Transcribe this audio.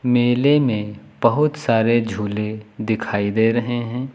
मेले में बहुत सारे झूले दिखाई दे रहे हैं।